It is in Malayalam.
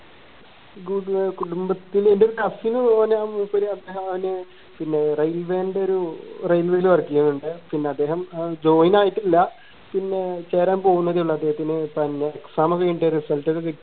കുടു കുടുംബത്തിലെ എൻറെ ഒരു cousin ഓന് മൂപ്പര് അദ്ദേഹം അവനെ പിന്നെ railway ന്റെ ഒരു railway ൽ work എയ്യുന്നുണ്ട് പിന്നെ അദ്ദേഹം join ആയിട്ടില്ല പിന്നെ ചേരാൻ പോവുന്നതേയുള്ളൂ അദ്ദേഹത്തിന് exam കൈഞ്ഞിട്ട് result ഒക്കെ